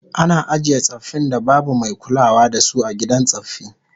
Ana ajiye tsaffin da babu mai kulawa da su a gidan tsaffi